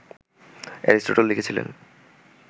Aristotle লিখেছিলেন